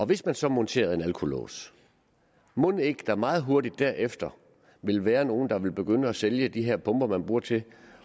hvis man så monterede en alkolås mon ikke der meget hurtigt derefter ville være nogle der ville begynde at sælge de her pumper man bruger til